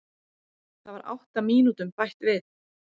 Það var átta mínútum bætt við